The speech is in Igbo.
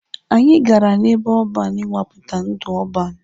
Anyị gara n'ebe ọban ịnwapụta ndụ ọban.